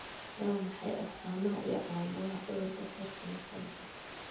Waa maxay astamaha iyo calaamadaha cudurka Parkinsonka?